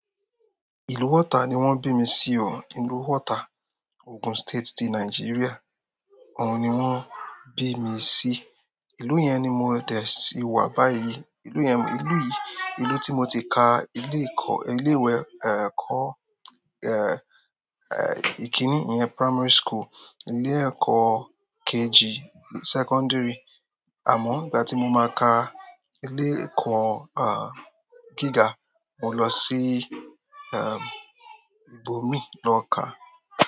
Ìlú water ni wọ́n bí mi sí o. Ìlú water, Ogun State ti Nigeria. Òun ni wọ́n bí mi sí. Ìlú yẹn ni mo dẹ̀ sí wà báyìí. Ìlú yẹn, ìlú yìí, ìlú tí mo ti ka ilé kọ́-- ilé ìwé, eh, kọ́, eh, eh, ìkíní, ìyẹn primary school, ilé ẹ̀kọ́ KG, secondary. Àmọ́ ìgbà tí mo máa ka ilé ẹ̀kọ́, ah, gíga, mo lọ sí, eh, ibòmíì lọ ká.